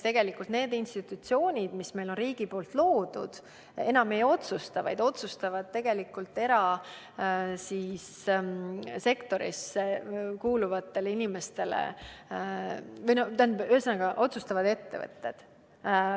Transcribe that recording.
Ehk need institutsioonid, mis meil on riigi loodud, enam ei otsusta, vaid otsustavad erasektorisse kuuluvad inimesed – ühesõnaga, otsustavad ettevõtted.